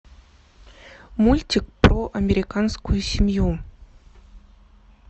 мультик про американскую семью